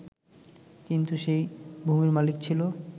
কিন্তু সেই ভূমির মালিক ছিল